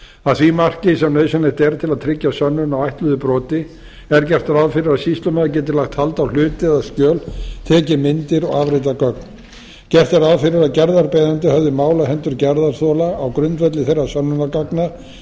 að því marki sem nauðsynlegt er til að tryggja að sönnun á ætluðu broti er gert ráð fyrir að sýslumaður geti lagt hald á hluti eða skjöl tekið myndir og afritað gögn gert er ráð fyrir að gerðarbeiðandi höfði mál á hendur gerðarþola á grundvelli þeirra sönnunargagna